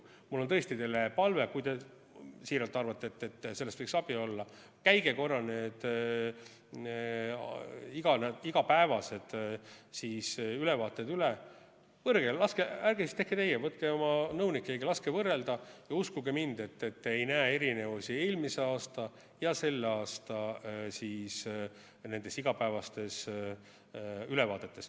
Mul on tõesti teile palve: kui te siiralt arvate, et sellest võiks abi olla, siis käige korra need igapäevased ülevaated üle – ärge tehke teie, võtke oma nõunik, keegi –, laske võrrelda ja uskuge mind: te ei näe erinevusi eelmise aasta ja selle aasta igapäevastes ülevaadetes.